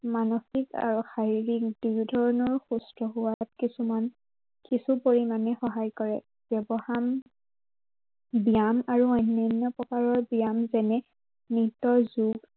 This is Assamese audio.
মানসিক আৰু শাৰীৰিক দুয়ো ধৰনৰ সুস্থ হোৱাত কিছুমান, কিছু পৰিমানে সহায় কৰে। ব্য়ৱধান ব্য়ায়াম আৰু অন্য়ান্য় প্ৰকাৰৰ জ্ঞান যেনে নৃত্য়ৰ জোৰ